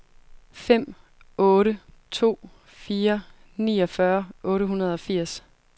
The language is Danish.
fem otte to fire niogfyrre otte hundrede og firs